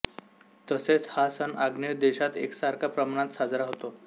तसेच हा सण आग्नेय देशात एकसारख्या प्रमाणात साजरा होतो